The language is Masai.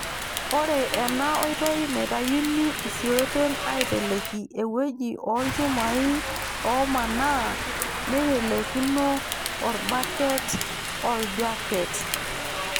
Ore ena oitoi naitayuni isiooten aaiteleki ewueji ooilchumaai oomanaa neiteleikino orbaket orjaket.